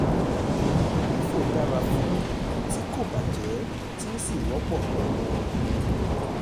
um lifo dara fún nkan tí kò bàjẹ́ tí ó sì wọ́pọ̀ gan-an.